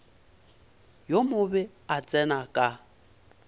yo mobe a tsena ka